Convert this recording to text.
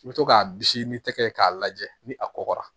I bɛ to k'a bisi ni tɛgɛ k'a lajɛ ni a kɔgɔra